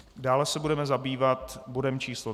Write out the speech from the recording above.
Dále se budeme zabývat bodem číslo